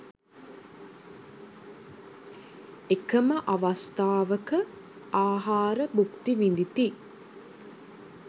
එකම අවස්ථාවක, ආහාර භුක්ති විඳිති.